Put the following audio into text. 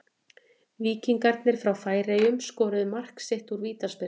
Víkingarnir frá Færeyjum skoruðu mark sitt úr vítaspyrnu.